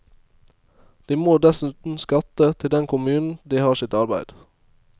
De må dessuten skatte til den kommunen de har sitt arbeid.